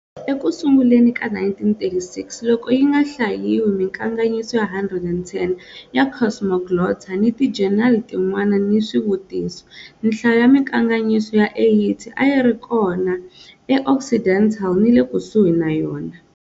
Eku sunguleni ka 1936, loko hi nga hlayiwi minkandziyiso ya 110 ya Cosmoglotta ni tijenali tin'wana ni switiviso, nhlayo ya minkandziyiso ya 80 a yi ri kona eOccidental ni le kusuhi na yona.